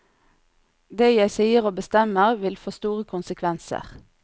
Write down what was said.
Det jeg sier og bestemmer, vil få store konsekvenser.